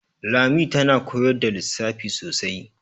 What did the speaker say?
Lami tana koyar da lissafi sosai.